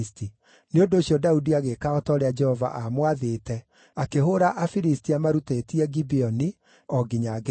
Nĩ ũndũ ũcio Daudi agĩĩka o ta ũrĩa Jehova aamwathĩte, akĩhũũra Afilisti amarutĩtie Gibeoni, o nginya Gezeri.